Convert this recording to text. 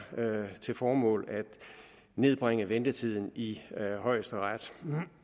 til formål at nedbringe ventetiden i højesteret